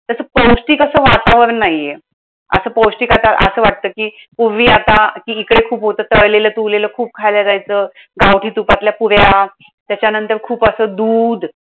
पौष्टिक असं वातावरण नाहीये. असं पौष्टिक आता असं वाटतं कि, पूर्वी आता हिसके खूप होतं. तळलेलं तुळलेलं खूप खायला जायचं. गावठी तुपातल्या पुऱ्या, त्याच्यानंतर खूप असं दूध.